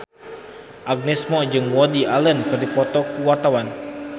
Agnes Mo jeung Woody Allen keur dipoto ku wartawan